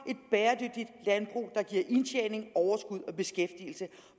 et indtjening overskud og beskæftigelse